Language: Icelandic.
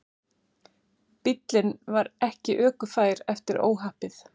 Bíllinn var ekki ökufær eftir óhappið